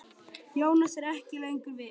Jónas er ekki lengur við.